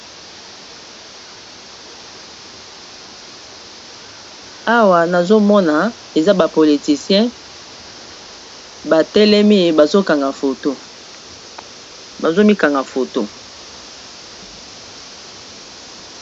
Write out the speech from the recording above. awa nazomona eza bapolyticien batelemi bazomikanga foto